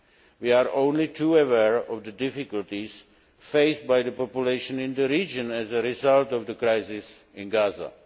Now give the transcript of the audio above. end. We are only too aware of the difficulties faced by the populations in the region as a result of the crisis